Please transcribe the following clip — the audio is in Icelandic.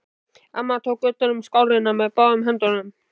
Amma tók utan um skálina með báðum höndum.